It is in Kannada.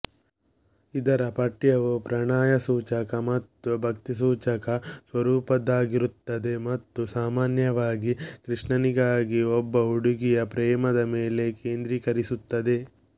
ಇದರ ಪಠ್ಯವು ಪ್ರಣಯಸೂಚಕ ಅಥವಾ ಭಕ್ತಿಸೂಚಕ ಸ್ವರೂಪದ್ದಾಗಿರುತ್ತದೆ ಮತ್ತು ಸಾಮಾನ್ಯವಾಗಿ ಕೃಷ್ಣನಿಗಾಗಿ ಒಬ್ಬ ಹುಡುಗಿಯ ಪ್ರೇಮದ ಮೇಲೆ ಕೇಂದ್ರೀಕರಿಸುತ್ತದೆ